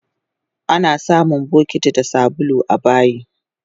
Anasamun bokiti da sabulu abayi